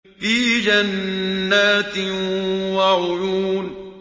فِي جَنَّاتٍ وَعُيُونٍ